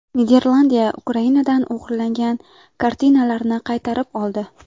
Niderlandiya Ukrainadan o‘g‘irlangan kartinalarni qaytarib oldi.